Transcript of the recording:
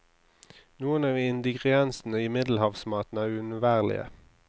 Noen av ingrediensene i middelhavsmaten er uunnværlige.